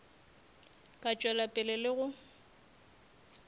ka tšwela pele le go